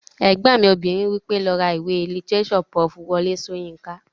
Ẹ̀gbọ́n mi obìnrin wí pé "lọ ra ìwé lítírésọ̀ Prof. Wọlé Sóyinká!"